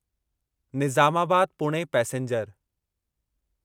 Nizamabad Pune passenger